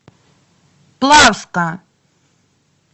плавска